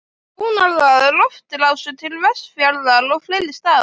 Þjónar það loftrásum til Vestfjarða og fleiri staða.